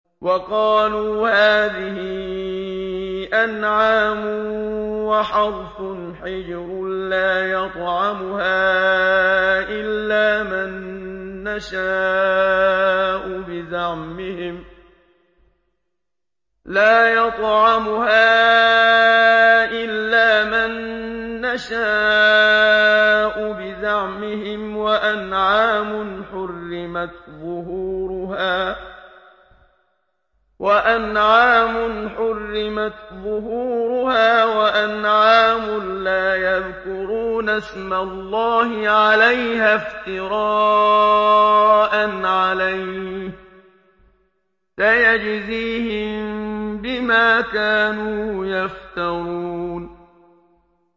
وَقَالُوا هَٰذِهِ أَنْعَامٌ وَحَرْثٌ حِجْرٌ لَّا يَطْعَمُهَا إِلَّا مَن نَّشَاءُ بِزَعْمِهِمْ وَأَنْعَامٌ حُرِّمَتْ ظُهُورُهَا وَأَنْعَامٌ لَّا يَذْكُرُونَ اسْمَ اللَّهِ عَلَيْهَا افْتِرَاءً عَلَيْهِ ۚ سَيَجْزِيهِم بِمَا كَانُوا يَفْتَرُونَ